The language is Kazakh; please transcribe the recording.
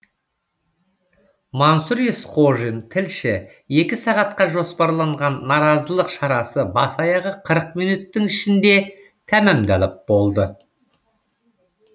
мансұр есқожин тілші екі сағатқа жоспарланған наразылық шарасы бас аяғы қырық минуттың ішінде тәмамдалып болды